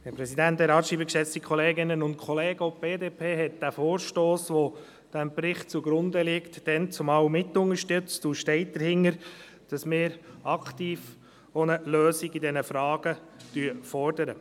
Auch die BDP hatte den Vorstoss, welcher diesem Bericht zugrunde liegt, damals mitunterstützt, und sie steht dahinter, in diesen Fragen aktiv eine Lösung zu fordern.